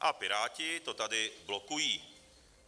A Piráti to tady blokují.